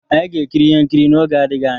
Anyị ga-ekiri ihe nkiri ihe nkiri n'oge adịghị anya.